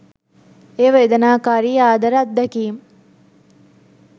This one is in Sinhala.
එය වේදනාකාරී ආදර අත්දැකීම්